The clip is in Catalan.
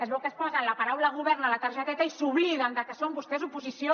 es veu que es posen la paraula govern a la targeteta i s’obliden de que són vostès oposició